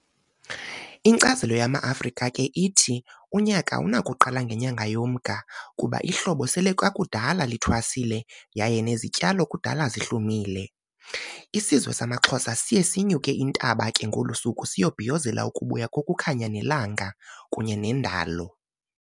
Inkcazelo yama Afrika ke ithi unyaka awunakuqala ngenyanga yoMnga kuba ihlobo sele kukudala lithwasile yaye nezityalo kudala zihlumile. Isizwe samaXhosa siye sinyuke intaba ke ngolusuku siyobhiyozela ukubuya kokukhanya nelanga, kunye nendalo.